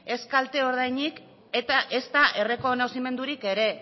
ez kalte ordainik eta ezta errekonozimendurik ere